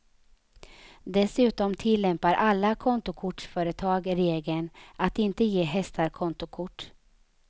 Dessutom tillämpar alla kontokortsföretag regeln att inte ge hästar kontokort.